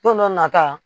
Don dɔ nata